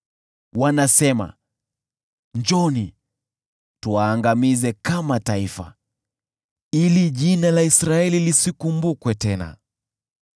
Wanasema, “Njooni, tuwaangamize kama taifa, ili jina la Israeli lisikumbukwe tena.”